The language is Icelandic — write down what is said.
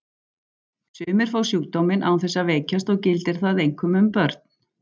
Sumir fá sjúkdóminn án þess að veikjast og gildir það einkum um börn.